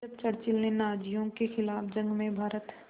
जब चर्चिल ने नाज़ियों के ख़िलाफ़ जंग में भारत